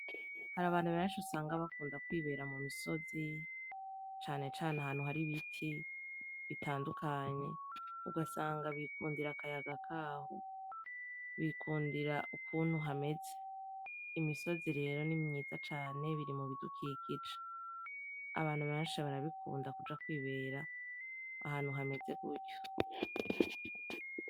Har'abantu benshi usanga bakunda kwibera mu misozi, cane cane ahantu har'ibiti bitandukanye, ugasanga bikundira akayaga kaho, bikundira ukuntu hameze. Imisozi rero ni mwiza cane biri mu bidukikije, abantu benshi barabikunda kuja kwibera ahantu hameze gutyo.